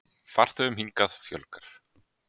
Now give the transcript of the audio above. Farþegum hingað fjölgar